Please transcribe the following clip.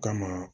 Kama